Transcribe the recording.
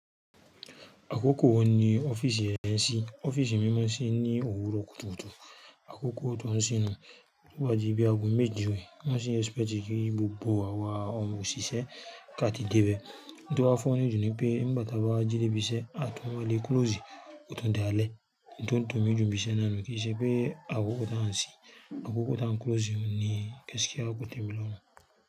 Àkókò wo ni ọ́fíìsì yẹn ṣí? Ọ́fíìsì mímọ́ ṣí ní òwúrọ̀ kùtùkùtù. Àkókò tí wọ́n sínu tó bá di bí àgọ̀ méje rẹ́, wọ́n ṣì expect tí kí gbogbo àwa ọmọ òṣìṣẹ́ ká ti dé bẹ́ẹ̀. Ohun tí ó wá funny jù ni pé nígbàtí a bá jí dé ibi iṣẹ́, a tún máa le close, ó tún dalẹ́. Ohun tó dùnmí ju ibi iṣẹ́ náà nù kí i ṣe pé àkókò tí wọ́n á ṣí, àkókò tí wọ́n á close ni gaskia kò témi lọ́rùn.